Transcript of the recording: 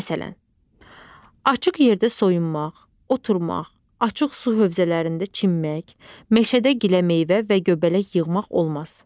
Məsələn, açıq yerdə soyunmaq, oturmaq, açıq su hövzələrində çimmək, meşədə giləmeyvə və göbələk yığmaq olmaz.